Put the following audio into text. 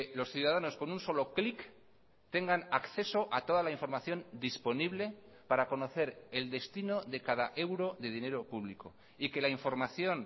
los ciudadanos con un solo clic tengan acceso a toda la información disponible para conocer el destino de cada euro de dinero público y que la información